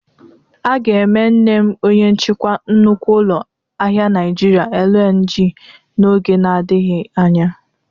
A ga-eme nne m onye nchikwa nnukwu ụlọ ahịa Nịajịrịa LNG n'oge na-adịghị anya.